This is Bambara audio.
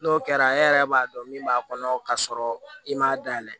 N'o kɛra e yɛrɛ b'a dɔn min b'a kɔnɔ k'a sɔrɔ i m'a dayɛlɛ